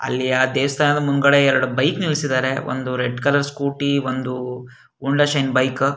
ಅಲ್ಲಿ ಆ ದೇವಸ್ತಾನದ ಮುಂದುಗಡೆ ಎರಡು ಬೈಕ್ ನಿಲ್ಸಿದ್ದರೆ ಒಂದು ರೆಡ್ ಕಲರ್ ಸ್ಕೂಟಿ ಒಂದು ಹೋಂಡಾ ಶೈನ್ ಬೈಕ್ .